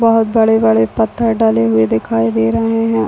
बहोत बड़े-बड़े पत्थर डलें हुए दिखाई दे रहे है।